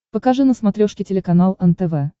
покажи на смотрешке телеканал нтв